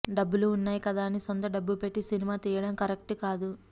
డబ్బులు ఉన్నాయి కదా అని సొంత డబ్బు పెట్టి సినిమా తీయడం కరెక్ట్కాదు